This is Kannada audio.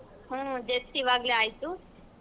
ಹ್ಮ್ just ಇವಾಗ್ಲೆ ಆಯ್ತು.